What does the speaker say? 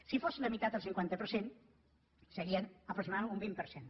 si fos la meitat el cinquanta per cent serien aproximadament un vint per cent